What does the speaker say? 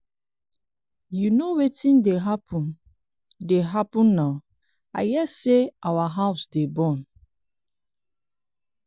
you know wetin dey happen dey happen now i hear say our house dey burn.